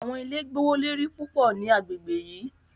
Awọn ile gbowolori pupọ ni agbegbe yii